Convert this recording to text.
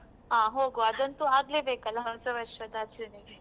ಆ ಹೋಗ್ವಾ ಅದಂತು ಆಗ್ಲೇ ಬೇಕಲ್ಲ ಹೊಸ ವರ್ಷದ ಆಚರಣೆಗೆ.